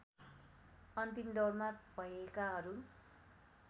अन्तिम दौरमा भएकाहरू